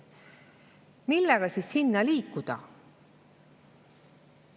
Millega siis sinna liikuda?